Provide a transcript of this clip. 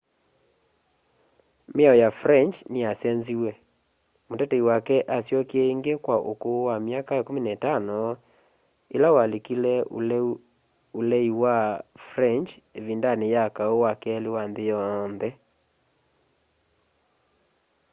miao ya french niyasenziw'e mutetei wake asyokie ingi kwa ukuu wa 15 ila walikile ulei wa french ivindani ya kau wa keli wa nthi yonthe